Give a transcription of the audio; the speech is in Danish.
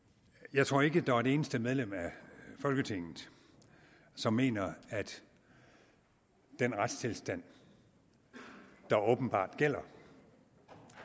jeg tror ikke der er et eneste medlem af folketinget som mener at den retstilstand der åbenbart gælder